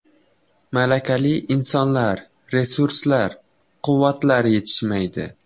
Malakali insonlar, resurslar, quvvatlar yetishmaydi.